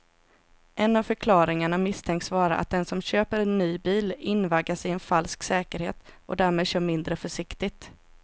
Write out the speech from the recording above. En av förklaringarna misstänks vara att den som köper en ny bil invaggas i en falsk säkerhet och därmed kör mindre försiktigt.